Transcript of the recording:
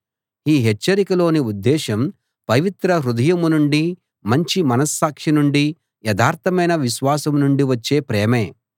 ఈ హెచ్చరికలోని ఉద్దేశం పవిత్ర హృదయం నుండీ మంచి మనస్సాక్షి నుండీ యథార్థమైన విశ్వాసం నుండీ వచ్చే ప్రేమే